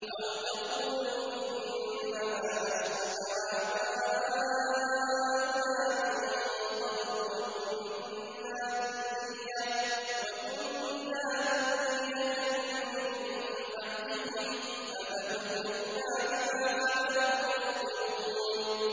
أَوْ تَقُولُوا إِنَّمَا أَشْرَكَ آبَاؤُنَا مِن قَبْلُ وَكُنَّا ذُرِّيَّةً مِّن بَعْدِهِمْ ۖ أَفَتُهْلِكُنَا بِمَا فَعَلَ الْمُبْطِلُونَ